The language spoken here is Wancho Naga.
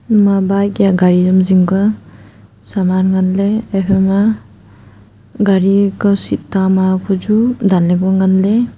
ima bike ya garI am zing ka saman nganley haI phaima garI kau seat tama hukuchu danley ku nganley.